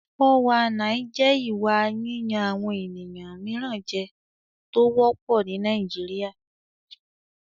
419 jẹ́ ìwà yíyan àwọn ènìyàn mìíràn jẹ tó wọ́pọ̀ ní Nàìjíríà.